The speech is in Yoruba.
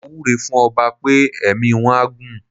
Mo wúre fún ọba pé ẹ̀mí wọ́n á gún.